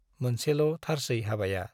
मोनसेल' थारसै हाबाया ।